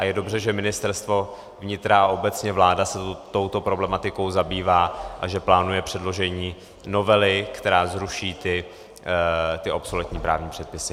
A je dobře, že Ministerstvo vnitra a obecně vláda se touto problematikou zabývá a že plánuje předložení novely, která zruší ty obsoletní právní předpisy.